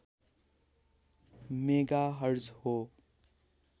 megahertz हो